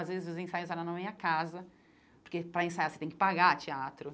Às vezes, os ensaios eram na minha casa, porque, para ensaiar, você tem que pagar teatro.